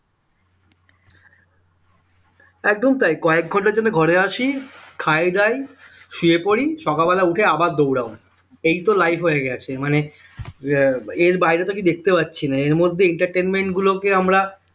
একদম তাই কয়েক ঘন্টার জন্য ঘরে আসি খাই-দাই শুয়ে পড়ি সকাল বেলা উঠে আবার দৌড়াও এই তো life হয়ে গেছে মানে আহ এর বাইরে তো কিছু দেখতে পারছি না এর মধ্যে entertainment গুলোকে আমরা